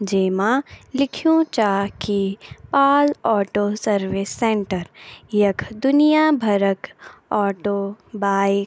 जे मा लिख्युं चा की पाल ऑटो सर्विस सेण्टर यख दुनिया भरक ऑटो बाइक --